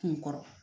Kun kɔrɔ